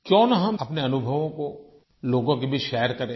क्यों न हम अपने अनुभवों को लोगों के बीच शेयर करें